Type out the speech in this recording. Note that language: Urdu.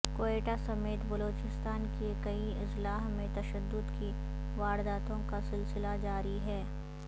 کوئٹہ سمیت بلوچستان کے کئی اضلاع میں تشدد کی وارداتوں کا سلسلہ جاری ہے